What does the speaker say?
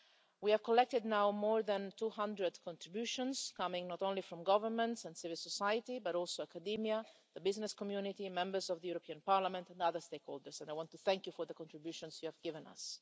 We have collected now more than 200 contributions coming not only from governments and civil society, but also academia, the business community, Members of the European Parliament and other stakeholders, and I want to thank you for the contributions you have given us.